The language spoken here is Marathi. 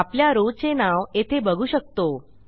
आपल्या rowचे नाव येथे बघू शकतो